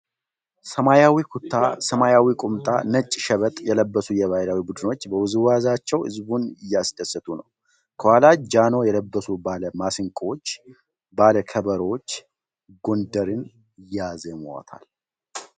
ሰማያዊ ኩታ ፣ ሰማያዊ ኩታ ፣ ሰማያዊ ቁምጣ ፣ ነጭ ሸበጥ የለበሱ የባሕል ቡድኖች በውዝዋዜአቸው ሕዝቡን እያስደሰቱ ፤ ከኋላ ጃኖ የለበሱ ባለ ማሲንቆዎች ፤ ባለ ከበሮዎች ጎንደርን ያዜሟታል።